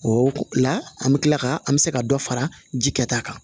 O la an bɛ kila ka an bɛ se ka dɔ fara ji kɛ ta kan